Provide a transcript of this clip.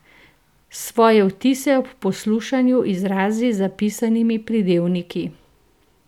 Svoje vtise ob poslušanju izrazi z zapisanimi pridevniki.